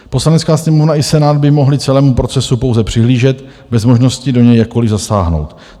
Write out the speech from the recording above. Poslanecká sněmovna i Senát by mohly celému procesu pouze přihlížet bez možnosti do něj jakkoliv zasáhnout.